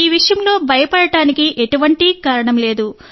ఈ విషయంలో భయపడటానికి ఎటువంటి కారణం లేదు